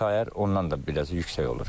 Sayar ondan da biraz yüksək olur.